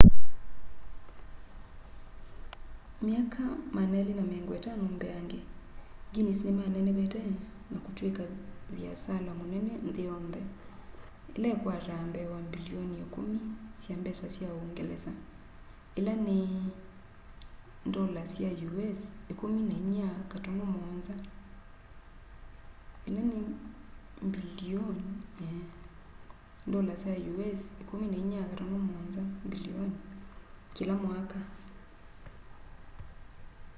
myaka 250 mbeange guinness nĩmanenevete na kũtwĩka vĩasala mũnene nthĩ yontheĩla ĩkwataa mbee wa mbilioni 10 sya mbesa sya ũngelesa us dollars 14.7 mbilioni kĩla mwaka